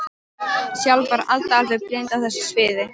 Sjálf var Alda alveg blind á þessu sviði.